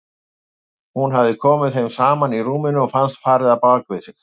Hafði komið að þeim saman í rúminu og fannst farið á bak við sig.